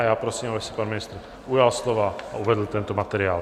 A já prosím, aby se pan ministr ujal slova a uvedl tento materiál.